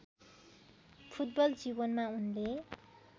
football जीवनमा उनले